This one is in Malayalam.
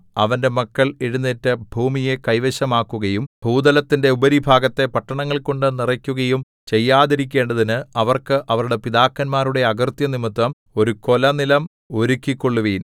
അവന്റെ മക്കൾ എഴുന്നേറ്റ് ഭൂമിയെ കൈവശമാക്കുകയും ഭൂതലത്തിന്റെ ഉപരിഭാഗത്തെ പട്ടണങ്ങൾകൊണ്ടു നിറയ്ക്കുകയും ചെയ്യാതിരിക്കേണ്ടതിന് അവർക്ക് അവരുടെ പിതാക്കന്മാരുടെ അകൃത്യം നിമിത്തം ഒരു കൊലനിലം ഒരുക്കിക്കൊള്ളുവിൻ